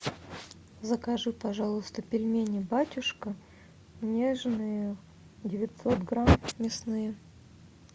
закажи пожалуйста пельмени батюшка нежные девятьсот грамм мясные